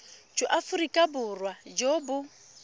jwa aforika borwa jo bo